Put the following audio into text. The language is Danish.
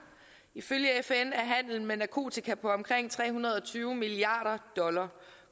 ifølge fn er handelen med narkotika på omkring tre hundrede og tyve milliard dollars